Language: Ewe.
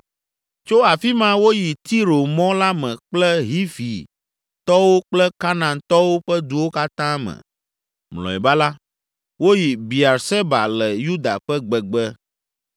Tso afi ma woyi Tiro mɔ la me kple Hivitɔwo kple Kanaantɔwo ƒe duwo katã me. Mlɔeba la, woyi Beerseba le Yuda ƒe gbegbe.